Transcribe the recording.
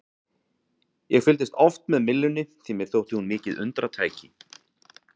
Ég fylgdist oft með myllunni því að mér þótti hún mikið undratæki.